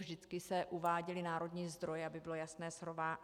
Vždy se uváděly národní zdroje, aby bylo jasné srovnání.